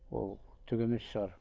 ол түк емес шығар